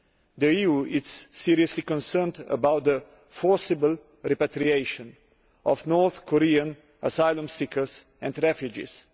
The EU is seriously concerned about the forcible repatriation of North Korean asylum seekers and refugees.